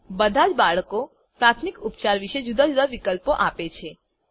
બધાજ બાળકો પ્રાથમિક ઉપચાર વિશે જુદા જુદા વિકલ્પો આપે છે